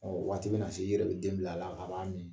Ɔ waati bɛna se i yɛrɛ bɛ den bil'a la a b'a min